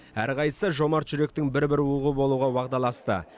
әрқайсысы жомарт жүректің бір бір уығы болуға уағдаласты